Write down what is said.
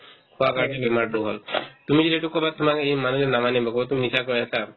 খোৱা কাৰণে বেমাৰতো হ'ল তুমি যেতিয়া এইটো ক'বা তোমাক এই মানুহজনে নামানে মোকোতো মিছা কৈ আছা